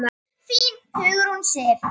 Þín, Hugrún Sif.